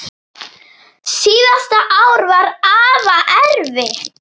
Síðasta ár var afa erfitt.